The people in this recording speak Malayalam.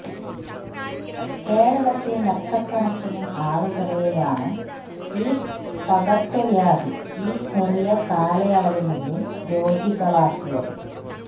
കേരളത്തില് ലക്ഷക്കണക്കിന് ആളുകളെയാണ് ഈ പകര്ച്ച വ്യാധി ഈ ചെറിയ കാലയളവിനുള്ളില് രോഗികളാക്കിയത്